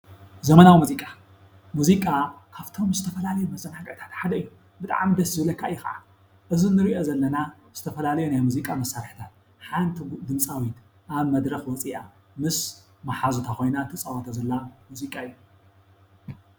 ዘመናዊ ሙዚቃ፡ ሙዚቃ ካብቶም ዝተፈላለዩ መዘናግዕታት ሓደ እዩ። ብጣዕሚ ደሰ ዝብለካ እዩ ከዓ እዚ እንርእዮ ዘለና ዝተፈላለዮ ናይ ሙዚቃ መሳርሕታት ሓንቲ ድምፃዊት ኣብ መድረክ ወፂኣ ምስ መሓዙታ ኮይና ትፃወቶ ዘላ ሙዚቃ እዩ።